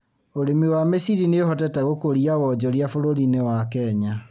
Ũrĩmi wa mĩciri nī ũhotete gũkũria wonjoria bũrũri-inĩ wa Kenya.